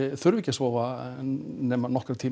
þurfi ekki að sofa nema nokkra tíma